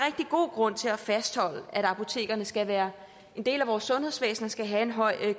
god grund til at fastholde at apotekerne skal være en del af vores sundhedsvæsen og skal have en høj